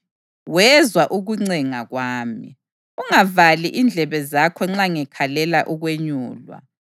Wezwa ukuncenga kwami: “Ungavali indlebe zakho nxa ngikhalela ukwenyulwa.”